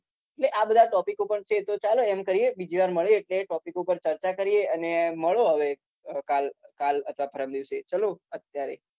એટલે આ બધા topics પણ છે તો ચાલો એમ કરીએ બીજી વાર મળીએ એટલે topics ઉપર ચર્ચા કરીએ અને મળો હવે કાલ કાલ અથવા પરમ દિવસે ચાલો અત્યારે